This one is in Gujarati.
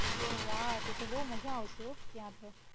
ઓ વાઉ તો તો બઉ મજા આવશે હો ત્યાં તો.